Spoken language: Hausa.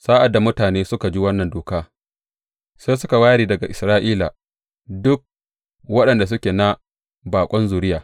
Sa’ad da mutane suka ji wannan doka, sai suka ware daga Isra’ila duk waɗanda suke na baƙon zuriya.